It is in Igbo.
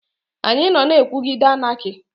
Anyị nọ na-ekwuguide Anaki.